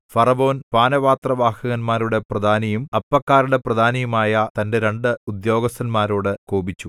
ഫറവോൻ പാനപാത്രവാഹകന്മാരുടെ പ്രധാനിയും അപ്പക്കാരുടെ പ്രധാനിയുമായ തന്റെ രണ്ട് ഉദ്യോഗസ്ഥന്മാരോടു കോപിച്ചു